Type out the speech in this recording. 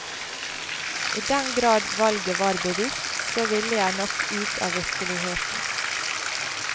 I den grad valget var bevisst, så ville jeg nok ut i virkeligheten.